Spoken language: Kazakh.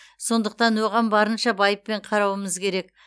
сондықтан оған барынша байыппен қарауымыз керек